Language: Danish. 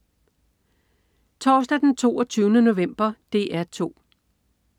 Torsdag den 22. november - DR 2: